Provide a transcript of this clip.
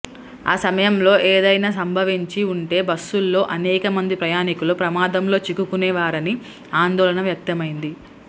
ఆ సమయంలో ఏదైనా సంభవించి ఉంటే బస్సులోని అనేక మంది ప్రయాణికులు ప్రమాదంలో చిక్కుకునేవారనే ఆందోళన వ్యక్తమైంది